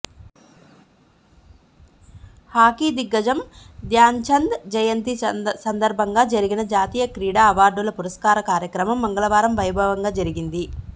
hockey దిగ్గజం ధ్యాన్చంద్ జయంతి సందర్భంగా జరిగిన జాతీయ క్రీడా అవార్డుల పురస్కార కార్యక్రమం మంగళవారం వైభవంగా జరిగింది